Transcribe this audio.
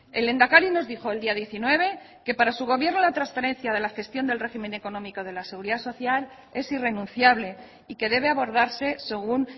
el lehendakari nos dijo el día diecinueve que para su gobierno la transferencia de la gestión del régimen económico de la seguridad social es irrenunciable y que debe abordarse según